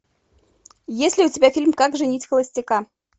есть ли у тебя фильм как женить холостяка